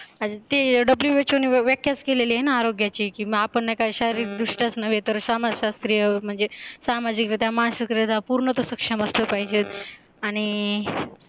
आणि ते WHO ने व्याख्याच केली आहे ना आरोग्याचे की मग आपण नाय का शारीरिक दृष्ट्याच नव्हे तर समाजशास्त्रीय म्हणजे सामाजिक रित्या मानसिकरीत्या पूर्ण तो सक्षम असला पाहीजे आणि